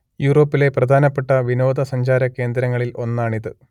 യൂറോപ്പിലെ പ്രധാനപ്പെട്ട വിനോദ സഞ്ചാര കേന്ദ്രങ്ങളിൽ ഒന്നാണിത്